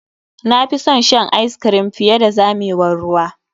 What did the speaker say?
Na fi son shan ice cream fiye da zamewar ruwa.